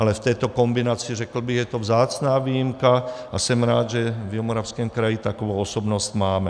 Ale v této kombinaci, řekl bych, je to vzácná výjimka a jsem rád, že v Jihomoravském kraji takovou osobnost máme.